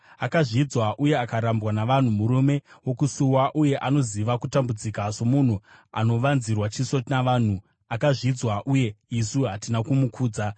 Akazvidzwa uye akarambwa navanhu, murume wokusuwa, uye anoziva kutambudzika. Somunhu anovanzirwa chiso navanhu, akazvidzwa, uye isu hatina kumukudza.